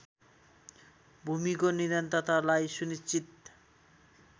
भूमिको निरन्तरतालाई सुनिश्चित